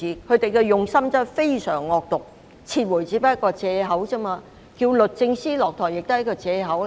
他們的用心真的非常惡毒，撤回不過是借口，而要求律政司司長下台亦是借口。